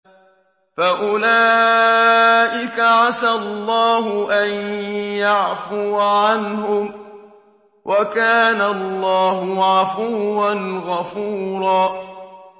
فَأُولَٰئِكَ عَسَى اللَّهُ أَن يَعْفُوَ عَنْهُمْ ۚ وَكَانَ اللَّهُ عَفُوًّا غَفُورًا